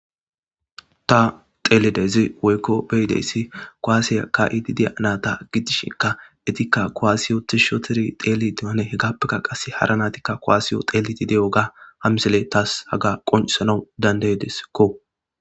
ta xelidezi woykko beyideyssi koaasiya ka7ididiya naata giddishinka etikka koaasiyo tishshoteri xeeli deane hegappeka qasse hara natikka koaasiyo xeeliti de7o ga hamisile taas haga qoncisanau dandeydesekko